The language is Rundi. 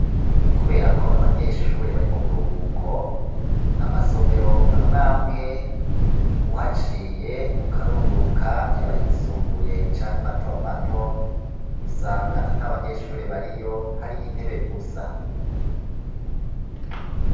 Kubera ko abanyeshure bari mu buruhuko, amasomero amwamwe, uhaciye ukarunguruka yaba ayisumbuye canke matomato, usanga ata banyeshure bariyo hariyo intebe gusa.